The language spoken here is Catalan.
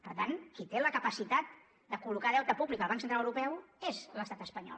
per tant qui té la capacitat de col·locar deute públic al banc central europeu és l’estat espanyol